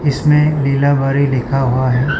इसमें लीलाबारी लिखा हुआ है।